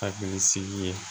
Hakili sigi ye